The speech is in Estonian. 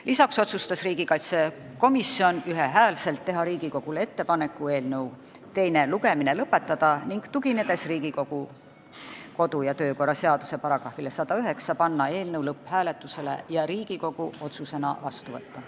Lisaks otsustas komisjon ühel häälel teha Riigikogule ettepaneku eelnõu teine lugemine lõpetada ning tuginedes Riigikogu kodu- ja töökorra seaduse §-le 109, panna eelnõu lõpphääletusele ja Riigikogu otsusena vastu võtta.